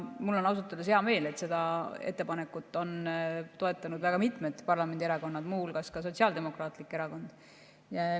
Mul on ausalt öeldes hea meel, et seda ettepanekut on toetanud väga mitmed parlamendierakonnad, teiste hulgas Sotsiaaldemokraatlik Erakond.